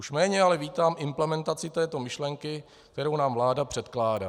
Už méně ale vítám implementaci této myšlenky, kterou nám vláda předkládá.